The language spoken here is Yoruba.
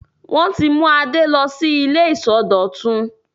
Wọ́n ti mú Adé lọ sí ilé ìsọdọ̀tun.